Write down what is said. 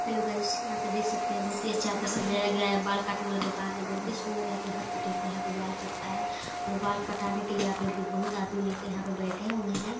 Hello guys यहाँ पे देख सकते है बहुत ही अच्छा यहाँ पे सजाया गया है बाल काट ने वाला दुकान है बहुत ही सुन्दर यहाँ पे हर कटिंग का यहाँ पे बाल कटता है और बाल कटाने के लिए यहाँ पे बहुत आदमी आके यहाँ पे बैठे हुए है।